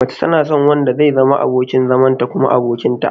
Mace tana son wanda zai zama abokin zamanta kuma abokinta.